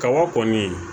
Kaba kɔni